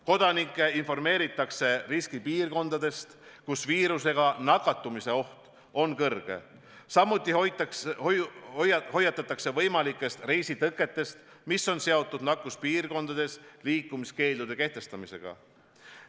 Kodanikke informeeritakse riskipiirkondadest, kus viirusega nakatumise oht on kõrge, samuti hoiatatakse võimalike reisitõkete eest, mis on seotud nakkuspiirkondades liikumiskeeldude kehtestamisega.